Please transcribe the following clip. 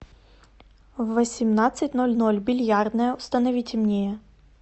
в восемнадцать ноль ноль бильярдная установи темнее